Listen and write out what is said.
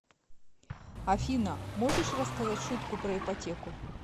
афина можешь рассказать шутку про ипотеку